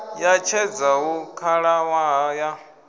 ya tshedza hu khalaṅwaha ya